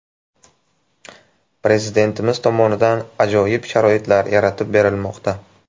Prezidentimiz tomonidan ajoyib sharoitlar yaratib berilmoqda.